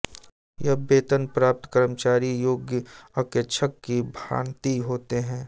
यह वेतन प्राप्त कर्मचारी योग्य अंकेक्षक की भांति होते हैं